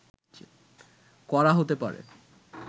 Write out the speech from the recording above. করা হতে পারে